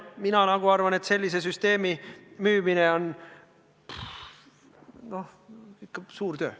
Mina arvan, et sellise süsteemi müümine on ikka suur töö.